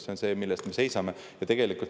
See on see, mille eest me seisame.